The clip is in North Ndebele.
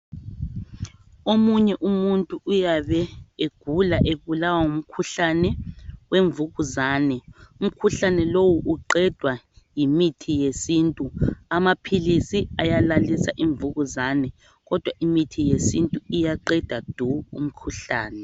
Omunye umuntu uyabe egula ebulawa ngumkhuhlane wemvukuzane. Umkhuhlane lowu uqedwa yimithi yesintu. Amaphilisi ayalalisa imvukuzane kodwa imithi yesintu iyaqeda du umkhuhlane.